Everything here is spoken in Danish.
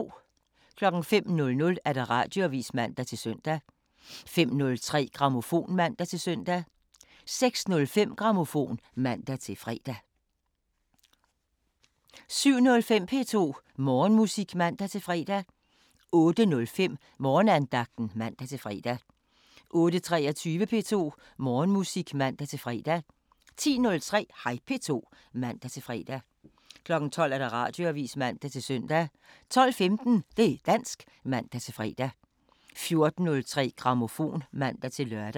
05:00: Radioavisen (man-søn) 05:03: Grammofon (man-søn) 06:05: Grammofon (man-fre) 07:05: P2 Morgenmusik (man-fre) 08:05: Morgenandagten (man-fre) 08:23: P2 Morgenmusik (man-fre) 10:03: Hej P2 (man-fre) 12:00: Radioavisen (man-søn) 12:15: Det' dansk (man-fre) 14:03: Grammofon (man-lør)